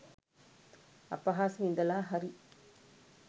අපහාස විඳලා හරි